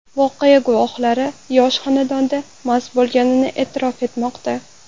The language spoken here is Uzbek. Voqea guvohlari yosh xonanda mast bo‘lganini e’tirof etmoqda.